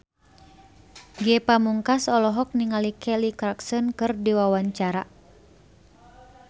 Ge Pamungkas olohok ningali Kelly Clarkson keur diwawancara